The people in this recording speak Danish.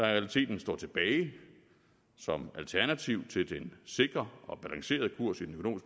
realiteten står tilbage som alternativ til den sikre og balancerede kurs i den